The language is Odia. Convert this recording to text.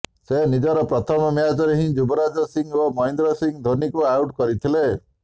ସେ ନିଜର ପ୍ରଥମ ମ୍ୟାଚରେ ହିଁ ଯୁବରାଜ ସିଂ ଓ ମହେନ୍ଦ୍ର ସିଂ ଧୋନୀଙ୍କୁ ଆଉଟ୍ କରିଥିଲେ